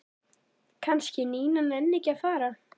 Kannski Nína nenni ekki að fara.